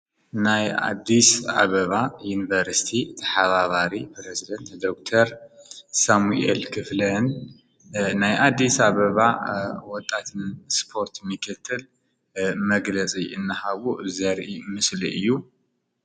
ናይ ኣዲስ አበባ ዩኒቨርስቲ ተሓባበሪ ፕረዚደንት ዶክተር ሳሙኤል ክፍለን ናይ ኣዲስ አበባ ወጣት ስፖርት ምክትል መግለፂ እናሃቡ ዘርኢ ምስሊ እዩ።